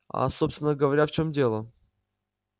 а собственно говоря в чём дело